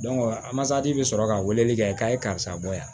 a masati bɛ sɔrɔ ka weleli kɛ k'a ye karisa bɔ yan